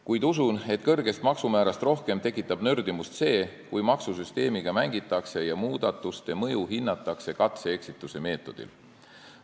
Kuid usun, et kõrgest maksumäärast rohkem tekitab nördimust see, kui maksusüsteemiga mängitakse ja muudatuste mõju hinnatakse katse ja eksituse meetodil.